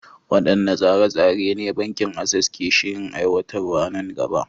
Waɗanne tsare-tsare ne Bankin Access ke shirin aiwatarwa nan gaba?